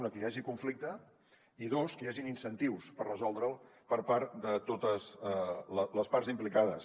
una que hi hagi conflicte i dos que hi hagin incentius per resoldre’l per part de totes les parts implicades